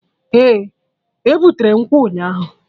Eh, e butere nkwụ ụnyaahụ